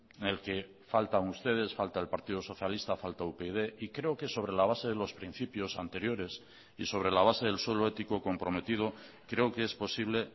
en el que faltan ustedes falta el partido socialista falta upyd y creo que sobre la base de los principios anteriores y sobre la base del suelo ético comprometido creo que es posible